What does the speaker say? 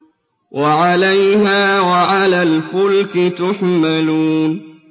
وَعَلَيْهَا وَعَلَى الْفُلْكِ تُحْمَلُونَ